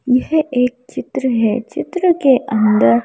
यह एक चित्र है चित्र के अंदर--